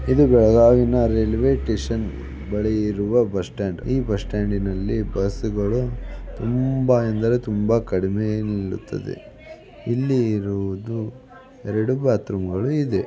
ಇದು ಬೆಳಗಾವಿನ railway station ಬಳಿ ಇರುವ ಬಸ್ಸ್ಟ್ಯಾಂಡ್. ಈ ಬಸ್ಸ್ಟ್ಯಾಂಡ್ನಲ್ಲಿ ಬಸ್ಗಳು ತುಂಬಾ ಎಂದರೆ ತುಂಬಾ ಕಡಿಮೆ ನಿಲ್ಲುತ್ತದೆ ಇಲ್ಲಿಇರುವದು ಎರಡು ಬಾತ್ರೂಮ್ಗಳು ಇದೆ.